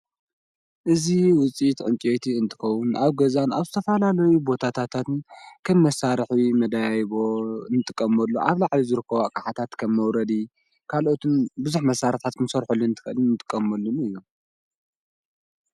እዙ ውፂትዑንፂቲ እንጥኸዉን ኣብ ገዛን ኣብ ስተፋላለዊ ቦታትን ከምመሣርሕዊ መዳይይቦ እንጥቀመሉ ዓብላዕሊ ዝርክዋ ኽሓታት ከም መውረዲ ካልኦቱን ብዙኅ መሣርፋት ምሠርሑሉንልን እንጥቀመሉኒ እዩ።